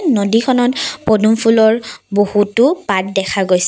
নদীখনত পদুম ফুলৰ বহুতো পাত দেখা গৈছে।